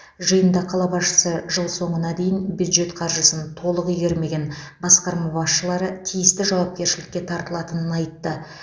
жиында қала басшысы жыл соңына дейін бюджет қаржысын толық игермеген басқарма басшылары тиісті жауапкершілікке тартылатынын айтты